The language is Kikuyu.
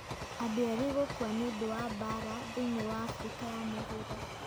Andũ erĩ gũkua nĩ ũndũ wa mbaara thĩinĩ wa Afrika ya Mũhuro